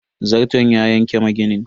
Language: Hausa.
Zarton ya yanki maginin.